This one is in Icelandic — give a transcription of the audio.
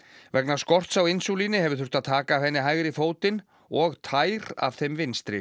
vegna skorts á hefur þurft að taka af henni hægri fótinn og tær af þeim vinstri